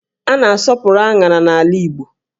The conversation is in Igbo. A na-asọpụrụ áṅárá n'ala Igbo